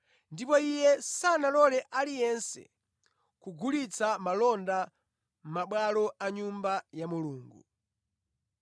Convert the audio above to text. ndipo Iye sanalole aliyense kugulitsa malonda mʼmabwalo a Nyumba ya Mulungu.